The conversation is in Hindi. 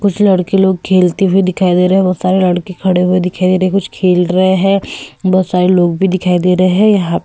कुछ लड़के लोग खेलते हुए दिखाई दे रहे हैं बहुत सारे लड़के खड़े हुए दिखाई दे रहे हैं कुछ खेल रहे हैं बहुत सारे लोग भी दिखाई दे रहे हैं यहां --